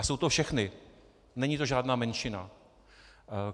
A jsou to všechny, není to žádná menšina.